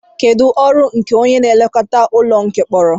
Kedu ọrụ nke onye nlekọta ụlọ mkpọrọ